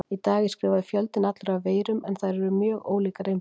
Í dag er skrifaður fjöldinn allur af veirum en þær eru mjög ólíkar innbyrðis.